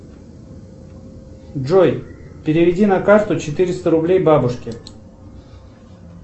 джой переведи на карту четыреста рублей бабушке